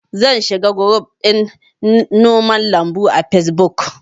Zan shiga guruf ɗin noman lambu a fesbuk